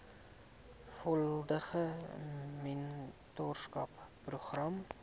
volledige mentorskap program